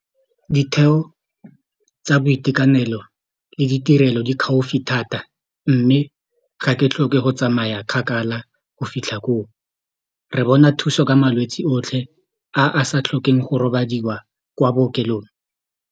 Ditheo tsa boitekanelo le ditirelo di gaufi thata mme ga ke tlhoke go tsamaya kgakala go fitlha koo re bona thuso ka malwetsi otlhe a a sa tlhokeng go robadiwa kwa bookelong.